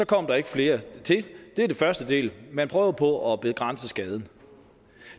kom der ikke flere til det er den første del man prøver på at begrænse skaden